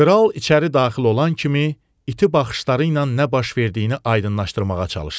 Kral içəri daxil olan kimi iti baxışları ilə nə baş verdiyini aydınlaşdırmağa çalışdı.